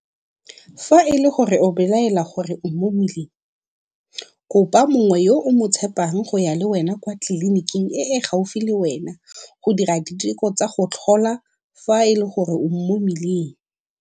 Fa e le gore o belaela gore o mo mmeleng, kopa mongwe yo o mo tshepang go ya le wena kwa tleliniking e e gaufi le wena go dira diteko tsa go tlhola fa e le gore o mo mmeleng.